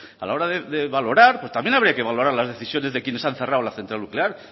a la hora de valorar pues también habría que valorar las decisiones de quienes han cerrado la central nuclear